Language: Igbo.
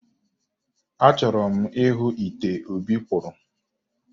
Achọrọ m ịhụ ite Obi kpụrụ